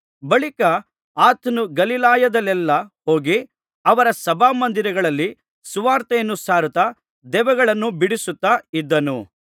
ಬಳಿಕ ಆತನು ಗಲಿಲಾಯದಲ್ಲೆಲ್ಲಾ ಹೋಗಿ ಅವರ ಸಭಾಮಂದಿರಗಳಲ್ಲಿ ಸುವಾರ್ತೆಯನ್ನು ಸಾರುತ್ತಾ ದೆವ್ವಗಳನ್ನು ಬಿಡಿಸುತ್ತಾ ಇದ್ದನು